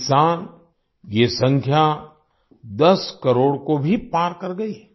इस साल ये संख्या 10 करोड़ को भी पार कर गई है